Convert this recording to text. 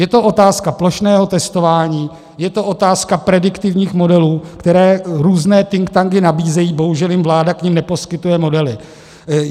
Je to otázka plošného testování, je to otázka prediktivních modelů, které různé think tanky nabízejí, bohužel jim vláda k nim neposkytuje modely.